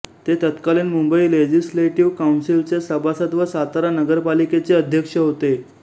ते तत्कालीन मुंबई लेजिस्लेटिव्ह काउन्सिलचे सभासद व सातारा नगरपालिकेचे अध्यक्ष होते